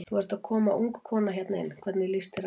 Þú ert að koma ung kona hérna inn, hvernig líst þér á?